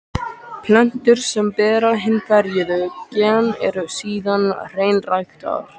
Plöntur sem bera hin ferjuðu gen eru síðan hreinræktaðar.